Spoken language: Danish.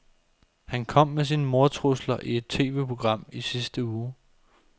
Han kom med sine mordtrusler i et TVprogram i sidste uge.